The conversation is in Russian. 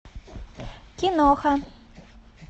киноха